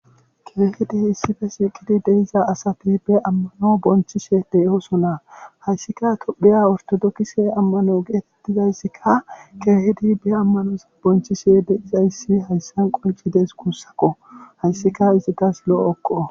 Keehidi issi bolla eqqizi diza asati ammano bonchishe de'oosona. haysikka tophiya orthodoxe amano geetetizayssikka keehidi be amanoza bonchishe de'izayssi hessan qonccides guussakko hayssikka izatas lo'okko.